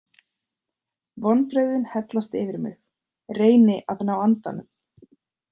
Vonbrigðin hellast yfir mig, reyni að ná andanum.